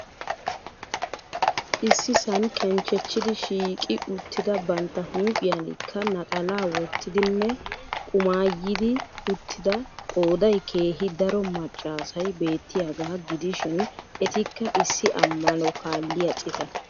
Issisaan kenchchechidi shiiqqi uttida bantta huuphphiyanikka naxalaa wottidinne qumaayidi uttida, qooday keehii daro maccaasay beettiyaagaa gidishiin etikka issi amano kaaliya ciita.